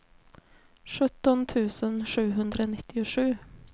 sjutton tusen sjuhundranittiosju